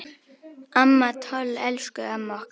Amma Toll, elsku amma okkar.